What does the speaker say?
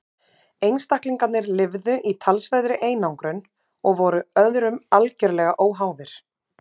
einstaklingarnir lifðu í talsverðri einangrun og voru öðrum algerlega óháðir